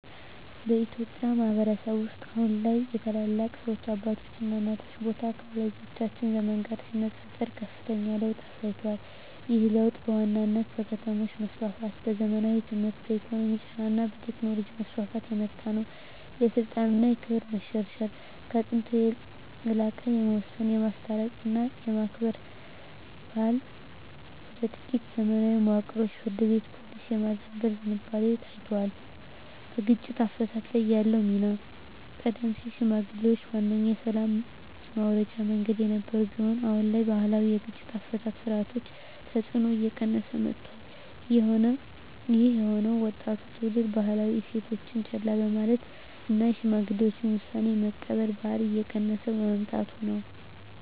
በኢትዮጵያ ማኅበረሰብ ውስጥ አሁን ላይ የታላላቅ ሰዎች (አባቶችና እናቶች) ቦታ ከወላጆቻችን ዘመን ጋር ሲነጻጸር ከፍተኛ ለውጥ አሳይቷል። ይህ ለውጥ በዋናነት በከተሞች መስፋፋት፣ በዘመናዊ ትምህርት፣ በኢኮኖሚ ጫና እና በቴክኖሎጂ መስፋፋት የመጣ ነው። የስልጣን እና ክብር መሸርሸር፦ ከጥንቱ የላቀ የመወሰን፣ የማስታረቅ እና የማክበር ባህል ወደ ጥቂት የዘመናዊ መዋቅሮች (ፍርድ ቤት፣ ፖሊስ) የማዘንበል ዝንባሌ ታይቷል። በግጭት አፈታት ላይ ያለው ሚና፦ ቀደም ሲል ሽምግልናዋነኛ የሰላም ማውረጃ መንገድ የነበረ ቢሆንም፣ አሁን ላይ የባህላዊ የግጭት አፈታት ሥርዓቶች ተጽዕኖ እየቀነሰ መጥቷል። ይህ የሆነው ወጣቱ ትውልድ ባህላዊ እሴቶችን ችላ በማለቱ እና የሽማግሌዎችን ውሳኔ የመቀበል ባህል እየቀነሰ በመምጣቱ ነው።